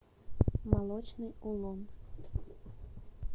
молочный улун